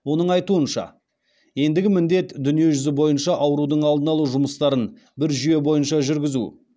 оның айтуынша ендігі міндет дүниежүзі бойынша аурудың алдын алу жұмыстарын бір жүйе бойынша жүргізу